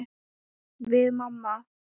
Við mamma.